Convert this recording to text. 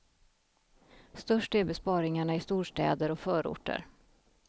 Störst är besparingarna i storstäder och förorter.